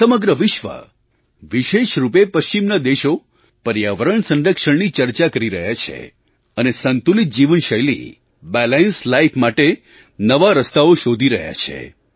આજે સમગ્ર વિશ્વ વિશેષ રૂપે પશ્ચિમના દેશો પર્યાવરણ સંરક્ષણની ચર્ચા કરી રહ્યા છે અને સંતુલિત જીવનશૈલી બેલેન્સ્ડ લાઇફ માટે નવા રસ્તાઓ શોધી રહ્યા છે